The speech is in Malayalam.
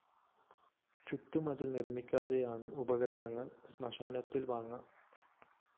ചുറ്റുമതില്‍ നിര്‍മ്മിക്കാതെയാണ് ഉപകരണങ്ങള്‍ ശ്മശാനത്തില്‍ വാങ്ങ